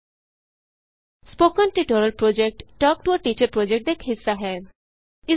spoken tutorial project talk to a teacher project ਦਾ ਇਕ ਹਿੱਸਾ ਹੈ